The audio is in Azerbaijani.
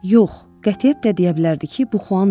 Yox, qətiyyətlə deyə bilərdi ki, bu Xuan deyil.